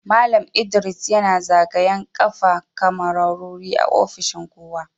Mallam ldris yana zagayan kafa kamarori a ofishin kowa.